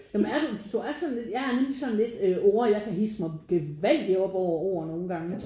Ja men er du? Du er sådan lidt jeg er nemlig sådan lidt øh ord jeg kan hidse mig gevaldigt op over ord nogle gange